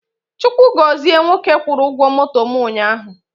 Chukwu gọzie nwoke kwụrụ ụgwọ moto mụ ụnyaahụ